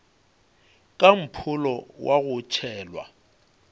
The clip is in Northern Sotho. ka mpholo wa go tšhelwa